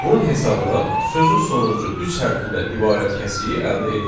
Bunun hesabına sözün sonuncu üç hərfindən ibarət kəsiyi əldə edirik.